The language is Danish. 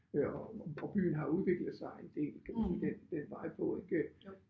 Øh og og byen har udviklet sig i det den den vej på ik